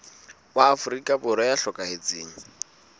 wa afrika borwa ya hlokahetseng